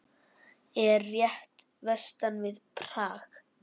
Er rétt vestan við Prag.